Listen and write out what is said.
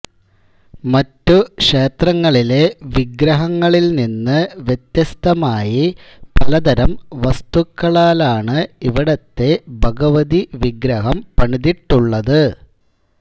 മറ്റു ക്ഷേത്രങ്ങളിലെ വിഗ്രഹങ്ങളിൽ നിന്ന് വ്യത്യസ്തമായി പലതരം വസ്തുക്കളാലാണ് ഇവിടത്തെ ഭഗവതി വിഗ്രഹം പണിതിട്ടുള്ളത്